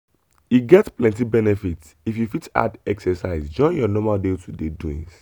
e get plenty benefit if you fit add exercise join your normal day-to-day doings.